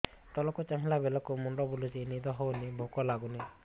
ତଳକୁ ଚାହିଁଲା ବେଳକୁ ମୁଣ୍ଡ ବୁଲୁଚି ନିଦ ହଉନି ଭୁକ ଲାଗୁନି